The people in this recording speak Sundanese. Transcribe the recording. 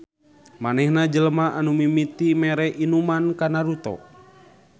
Manehna jelema anu mimiti mere inuman ka Naruto